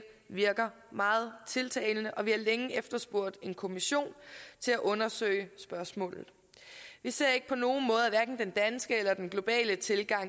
virker meget tiltalende og vi har længe efterspurgt en kommission til at undersøge spørgsmålet vi ser at hverken den danske eller den globale tilgang